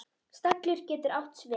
Stallur getur átt við